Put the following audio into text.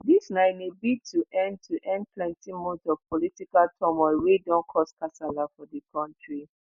dis na in a bid to end to end plenti months of political turmoil wey don cause kasala for di kontri